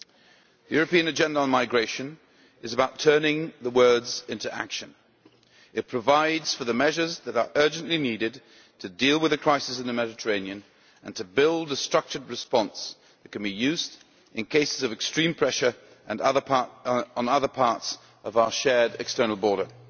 The European Agenda on Migration is about turning words into action. It provides for the measures that are urgently needed to deal with a crisis in the Mediterranean and to build a structured response that can be used in cases of extreme pressure on other parts of our shared external border.